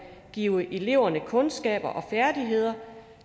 give eleverne kundskaber og færdigheder